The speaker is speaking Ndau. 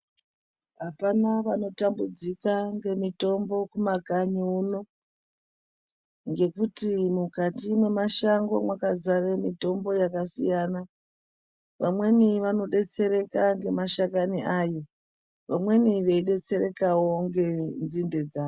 Apana vanotambudzika ngemitombo kumakanyi uno ngekuti mukati mwemashango mwakadzara mitombo yakasiyana, vamweni vanodetsereka ngemashakani ayo vamweni veidetserekawo ngenzinde dzayo.